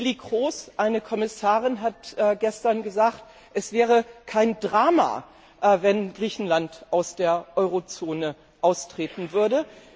Neelie Kroes, eine Kommissarin, hat gestern gesagt, es wäre kein Drama, wenn Griechenland aus der Eurozone austreten würde.